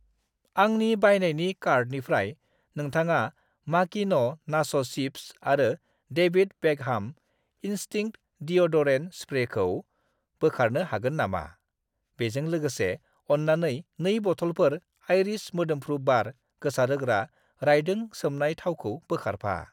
आंनि बायनायनि कार्टनिफ्राय नोंथाङा माकिन' नाच' सिप्स आरो डेविद बेकहाम इनस्टिंक्ट डिय'डरेन्ट स्प्रेखौ बोखारनो हागोन नामा? बेजों लोगोसे, अन्नानै 2 बथ'लफोर आइरिस मोदोम्फ्रु बार गोसारहोग्रा राइदों सोमनाय थावखौ बोखारफा।